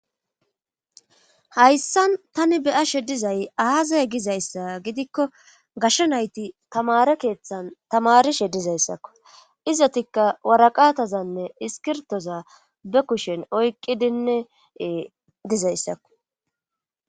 Hayssan tani beyashe dizay aazay gizayssa gidikko gashsha nayti tamare keeththan tamarishe dizayssakko izotikka waraqaatazanne iskirtoza be kushen oykqidinne dizayssakko